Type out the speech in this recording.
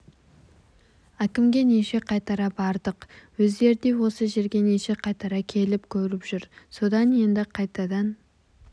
әкімге неше қайтара бардық өздері де осы жерге неше қайтара келіп көріп жүр содан енді қайтадан